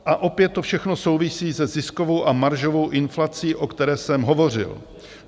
A opět to všechno souvisí se ziskovou a maržovou inflací, o které jsem hovořil.